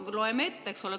No loeme ette.